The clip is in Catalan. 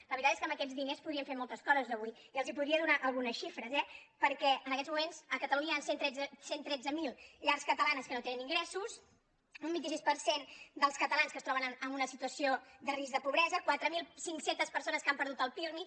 la veritat és que amb aquests diners podríem fer moltes coses avui i els en podria donar algunes xifres eh perquè en aquests moments a catalunya hi han cent i tretze mil llars catalanes que no tenen ingressos un vint sis per cent dels catalans que es troben en una situació de risc de pobresa quatre mil cinc cents persones que han perdut el pirmi